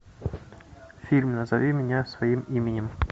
фильм назови меня своим именем